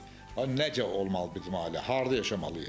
nədən olmalıdır bizim ailə, harda yaşamalıyıq?